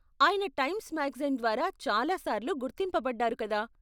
ఆయన Times magazine ద్వారా చాలా సార్లు గుర్తింపబడ్డారు, కదా ?